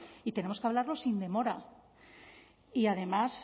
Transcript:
y tenemos que hablarlo sin demora y además